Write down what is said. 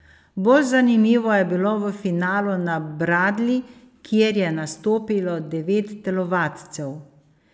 Bolj zanimivo je bilo v finalu na bradlji, kjer je nastopilo devet telovadcev.